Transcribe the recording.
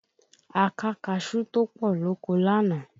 A ká kaṣú tó pọ̀ lóko lánàá